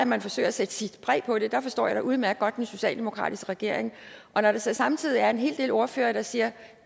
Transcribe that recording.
man forsøger at sætte sit præg på det der forstår jeg da udmærket godt den socialdemokratiske regering og når der så samtidig er en hel del ordførere der siger